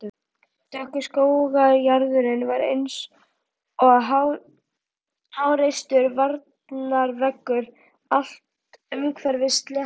Dökkur skógarjaðarinn var einsog háreistur varnarveggur allt umhverfis sléttuna.